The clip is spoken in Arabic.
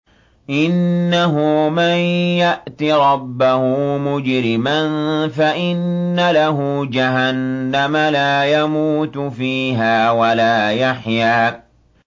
إِنَّهُ مَن يَأْتِ رَبَّهُ مُجْرِمًا فَإِنَّ لَهُ جَهَنَّمَ لَا يَمُوتُ فِيهَا وَلَا يَحْيَىٰ